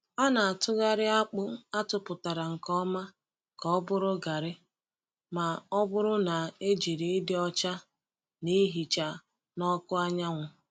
A na-atụgharị akpụ atụpụtara nke ọma ka ọ bụrụ garri ma ọ bụrụ na e jiri ịdị ọcha na ihicha n’ọkụ anyanwụ.